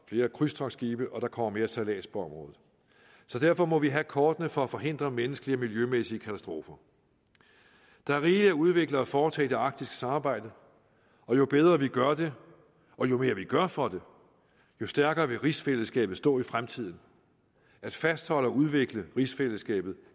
flere krydstogtsskibe og der kommer mere sejlads på området derfor må vi have kortene for at forhindre menneskelige og miljømæssige katastrofer der er rigeligt at udvikle og foretage i det arktiske samarbejde og jo bedre vi gør det og jo mere vi gør for det jo stærkere vil rigsfællesskabet stå i fremtiden at fastholde og udvikle rigsfællesskabet